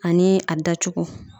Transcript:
Ani a dacogo.